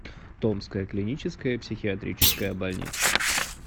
томская клиническая психиатрическая больница